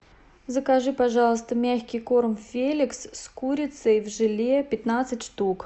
закажи пожалуйста мягкий корм феликс с курицей в желе пятнадцать штук